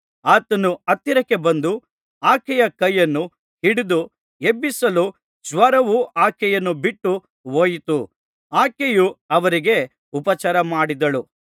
ಆತನು ಹತ್ತಿರಕ್ಕೆ ಬಂದು ಆಕೆಯ ಕೈಯನ್ನು ಹಿಡಿದು ಎಬ್ಬಿಸಲು ಜ್ವರವು ಆಕೆಯನ್ನು ಬಿಟ್ಟುಹೋಯಿತು ಆಕೆಯು ಅವರಿಗೆ ಉಪಚಾರಮಾಡಿದಳು